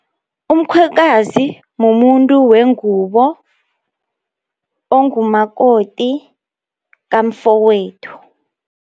Umkhwekazi mumuntu wengubo, ongumakoti kamfokwethu.